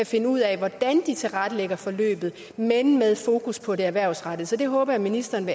finde ud af hvordan de tilrettelægger forløbet men med fokus på det erhvervsrettede så det håber jeg ministeren